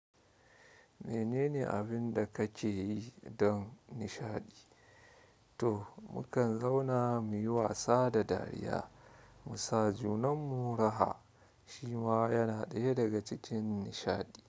Menene abinda kake yi don nishaɗi? To mukan zauna muyi wasa da dariya, mu sa junanmu raha shi ma yana ɗaya daga cikin nishaɗi.